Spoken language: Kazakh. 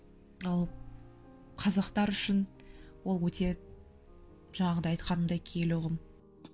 ал қазақтар үшін ол өте жаңағыдай айтқанымдай киелі ұғым